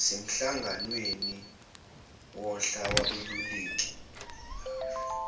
semhlanganweni wohla lwabeluleki